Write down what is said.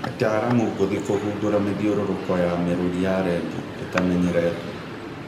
Ataaramu ngũthi kũgundũra mĩthiũrũrũko ya mĩrũri ya rendio ĩtamenyeretwo